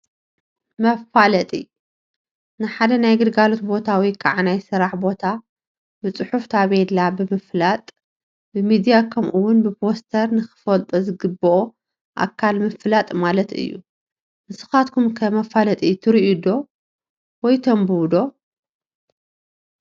መፋለጢ፡- ንሓደ ናይ ግልጋሎት ቦታ ወይ ከዓ ናይ ስራሕ ቦታ ብፅሑፍ ታፔላ ብምልጣፍ፣ ብሚድያ ከምኡ ውን ብፖስተር ንኽፈልጦ ዝግበኦ ኣካል ምፍላጥ ማለት እዩ፡፡ ንስኻትኩም ከ መፋለጢትሪኡ ወይ ተንብቡ ዶ?